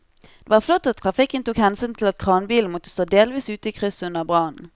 Det var flott at trafikken tok hensyn til at kranbilen måtte stå delvis ute i krysset under brannen.